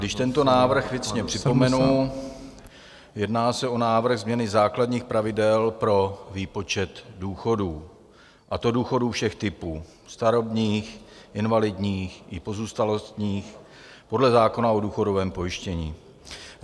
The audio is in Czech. Když tento návrh věcně připomenu, jedná se o návrh změny základních pravidel pro výpočet důchodů, a to důchodů všech typů, starobních, invalidních i pozůstalostních, podle zákona o důchodovém pojištění.